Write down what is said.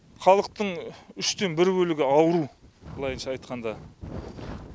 халықтың үштен бір бөлігі ауру былайынша айтқанда